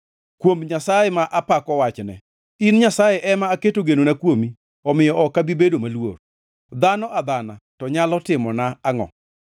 Kuom Nyasaye ma apako wachne, in Nyasaye ema aketo genona kuomi omiyo ok abi bedo maluor. Dhano adhana to nyalo timona angʼo?